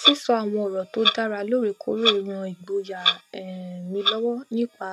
sísọ àwọn ọrọ tó dára lóòrèkóòrè ran ìgboyà um mi lọwọ nípa